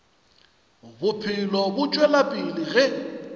bophelo bo tšwela pele ge